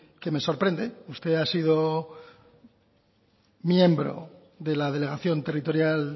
que me sorprende usted ha sido miembro de la delegación territorial